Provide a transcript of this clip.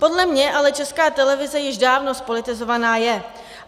Podle mě ale Česká televize již dávno zpolitizovaná je.